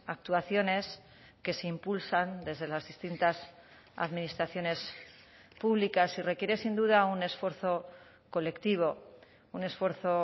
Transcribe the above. actuaciones que se impulsan desde las distintas administraciones públicas y requiere sin duda un esfuerzo colectivo un esfuerzo